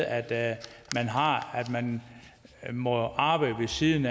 at man må arbejde ved siden